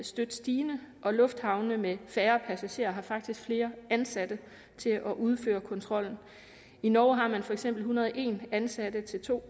støt stigende og lufthavne med færre passagerer har faktisk flere ansatte til at udføre kontrollen i norge har man for eksempel en hundrede og en ansatte til to